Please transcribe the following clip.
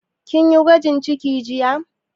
Kin yi gwajin ciki jiya?